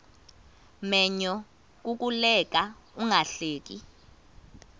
menyo kukuleka ungahleki